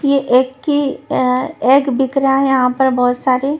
ये एग की अ एग बिक रहा है यहां पर बहुत सारे.